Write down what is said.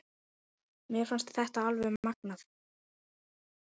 Mér fannst þetta alveg magnað.